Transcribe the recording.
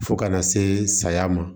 Fo kana se saya ma